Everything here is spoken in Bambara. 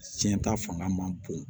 Tiɲɛ ta fanga man bon